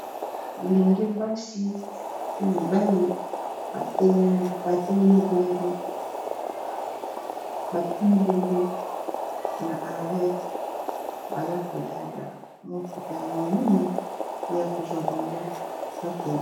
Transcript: bilenge basi pe mibali batele mibongo na ar baza kozela motuka ya monene e ya kozwa bango bakendi